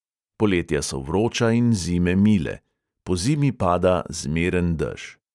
Poletja so vroča in zime mile; pozimi pada zmeren dež.